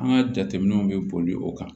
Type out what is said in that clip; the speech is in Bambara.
An ka jateminɛw bɛ boli o kan